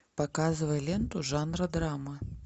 показывай ленту жанра драма